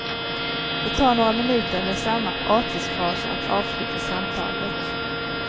Det tar några minuter med samma artighetsfraser att avsluta samtalet.